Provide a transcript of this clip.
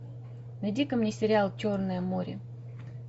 найди ка мне сериал черное море